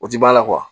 O ti ba la